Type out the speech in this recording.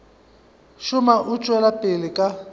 šoma o tšwela pele ka